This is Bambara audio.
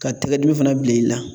Ka tɛgɛdimi fana bila i la